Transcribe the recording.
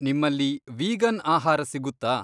ನಿಮ್ಮಲ್ಲಿ ವೀಗನ್ ಆಹಾರ ಸಿಗುತ್ತಾ?